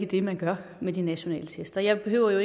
det man gør med de nationale test jeg behøver jo